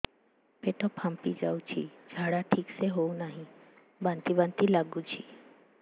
ପେଟ ଫାମ୍ପି ଯାଉଛି ଝାଡା ଠିକ ସେ ହଉନାହିଁ ବାନ୍ତି ବାନ୍ତି ଲଗୁଛି